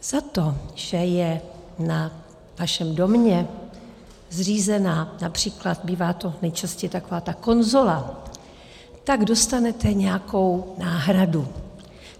Za to, že je na vašem domě zřízena, například bývá to nejčastěji taková ta konzola, tak dostanete nějakou náhradu.